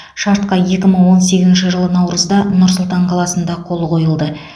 шартқа екі мың он сегізінші жылы наурызда нұр сұлтан қаласында қол қойылды